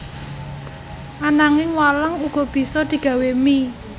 Ananging walang uga bisa digawé mie